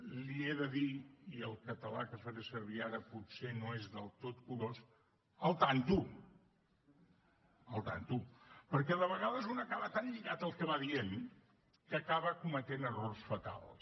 li he de dir i el català que faré servir ara potser no és del tot curós al tanto al tanto perquè de vegades un acaba tan lligat al que va dient que acaba cometent errors fatals